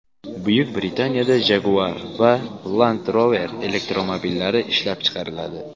Buyuk Britaniyada Jaguar va Land Rover elektromobillari ishlab chiqariladi.